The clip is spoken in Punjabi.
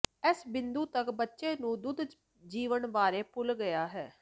ਇਸ ਬਿੰਦੂ ਤੱਕ ਬੱਚੇ ਨੂੰ ਚੁੱਪ ਜੀਵਨ ਬਾਰੇ ਭੁੱਲ ਗਿਆ ਹੈ